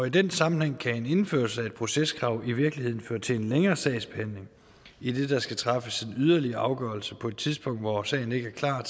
i den sammenhæng kan indførelse af et proceskrav i virkeligheden føre til en længere sagsbehandling idet der skal træffes en yderligere afgørelse på et tidspunkt hvor sagen ikke er klar